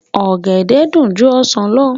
Ọ̀gẹ̀dẹ̀ dùn ju ọsàn lọ